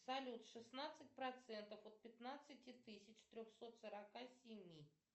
салют шестнадцать процентов от пятнадцати тысяч трехсот сорока семи